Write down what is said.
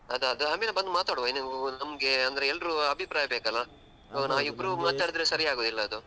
ಅದು ಅದು ಆಮೇಲೆ ಬಂದು ಮಾತಾಡುವ ಅದೂ ನಮ್ಗೆ ಅಂದ್ರೆ ಎಲ್ರು ಅಭಿಪ್ರಾಯ ಬೇಕಲ್ಲಾ ನಾವು ಇಬ್ರು ಮಾತಾಡಿದ್ರೆ ಸರಿಯಾಗುದಿಲ್ಲಾ ಅದು.